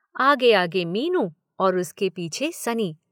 आगे आगे मीनू और उसके पीछे सनी।